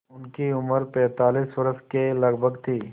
उनकी उम्र पैंतालीस वर्ष के लगभग थी